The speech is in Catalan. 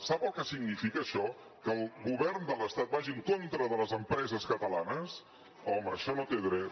sap el que significa això que el govern de l’estat vagi en contra de les empreses catalanes home això no té dret